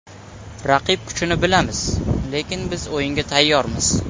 Raqib kuchini bilamiz, lekin biz o‘yinga tayyormiz.